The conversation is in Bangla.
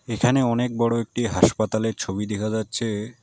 এখানে অনেক বড় একটি হাসপাতালের ছবি দেখা যাচ্ছে।